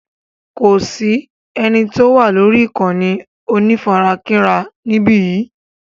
Kò sí eni tó wà lórí ìkànnì onífarakínra níbí yìí.